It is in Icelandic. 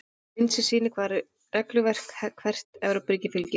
Mynd sem sýnir hvaða regluverki hvert Evrópuríki fylgir.